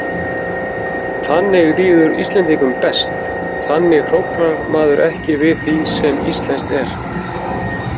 Þannig líður Íslendingum best, þannig hróflar maður ekki við því sem íslenskt er.